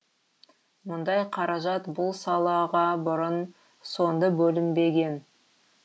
мұндай қаражат бұл салаға бұрын соңды бөлінбеген